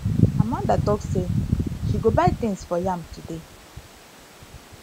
amanda talk say she go buy things for yam today